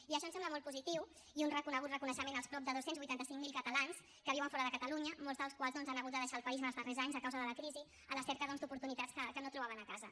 i això em sembla molt positiu i un reconegut reconeixement als prop de dos cents i vuitanta cinc mil catalans que viuen fora de catalunya molts dels quals doncs han hagut de deixar el país en els darrers anys a causa de la crisi a la cerca doncs d’oportunitats que no trobaven a casa